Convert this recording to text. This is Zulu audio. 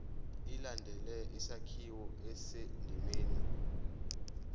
ilandele isakhiwo esisendimeni